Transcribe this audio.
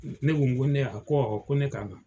Ne ko ko ne a ? Ko awɔ ko ne ka na.